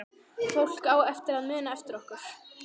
Fólk á eftir að muna eftir okkur